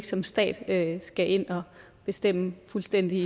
som stat ikke skal ind og bestemme fuldstændigt